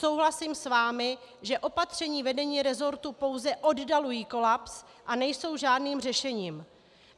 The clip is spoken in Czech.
Souhlasím s vámi, že opatření vedení resortu pouze oddalují kolaps a nejsou žádným řešením.